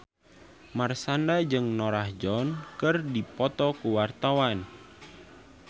Marshanda jeung Norah Jones keur dipoto ku wartawan